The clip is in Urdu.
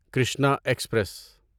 کرشنا ایکسپریس